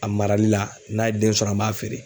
A marali la n'a ye den sɔrɔ an b'a feere.